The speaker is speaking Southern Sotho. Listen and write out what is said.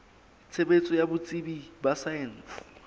tshebetso ya botsebi ba saense